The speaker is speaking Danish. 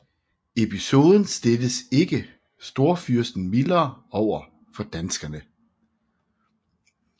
Episoden stillede ikke storfyrsten mildere over for danskerne